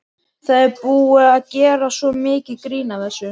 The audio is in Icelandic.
Það er búið að gera svo mikið grín að þessu.